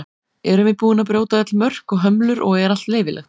erum við búin að brjóta öll mörk og hömlur og er allt leyfilegt